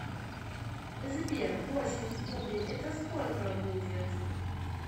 сбер восемь в кубе это сколько будет